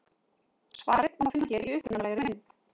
Svarið má finna hér í upprunalegri mynd.